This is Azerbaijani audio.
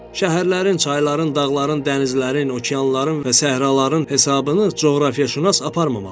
Şəhərlərin, çayların, dağların, dənizlərin, okeanların və səhraların hesabını coğrafiyaşünas aparmamalıdır.